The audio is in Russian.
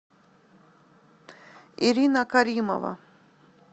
ирина каримова